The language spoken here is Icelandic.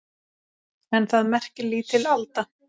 En það merkir lítil alda.